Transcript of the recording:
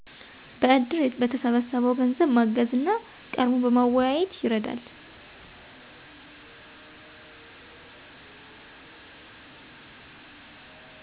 በእድር በተሠበሰበው ገንዘብ ማገዝ እና ቀርቦ በማወያየት ይረዳል።